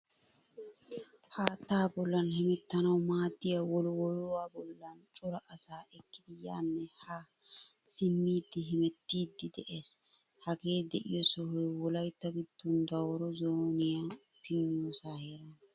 Haattaa bollan hemettanawu maadiyaa wollwoluwaa bollan cora asaa ekkidi yaane haa simmidi hemettidi de'ees. Hagee deiyo sohoy Wolaytta giddon Dawuro zooniyaa piniyosa heerana.